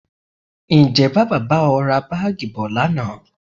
Ǹjẹ́ Bàbá bá ọ ra Báágì bọ̀ lánàá?